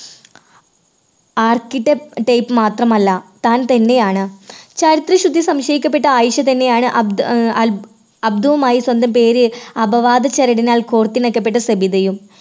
architect മാത്രമല്ല താൻ തന്നെയാണ് ചാരിത്രശുദ്ധി സംശയിക്കപ്പെട്ട ആയിഷ തന്നെയാണ് അബ്ദ് ആഹ് അബ് അബ്ദുൾമായി സ്വന്തം പേര് അപവാദ ചരടിനാൽ കോർത്തിണക്കപ്പെട്ട സബിതയും.